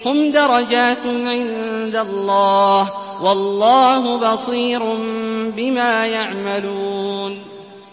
هُمْ دَرَجَاتٌ عِندَ اللَّهِ ۗ وَاللَّهُ بَصِيرٌ بِمَا يَعْمَلُونَ